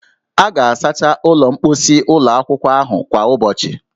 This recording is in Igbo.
A ga-asacha ụlọ mkposi ụlọ akwụkwọ ahụ kwa ụbọchị